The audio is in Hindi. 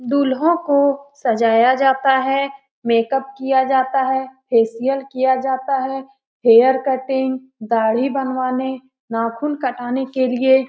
दूल्हों को सजाया जाता है मेकअप किया जाता है फेशियल किया जाता है हेयर कटिंग दाड़ी बनवाने नाखून कटाने के लिए --